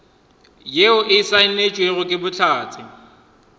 yeo e saenetšwego ke bohlatse